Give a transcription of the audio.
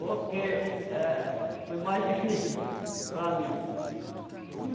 Porque, é, foi mais difícil para mim.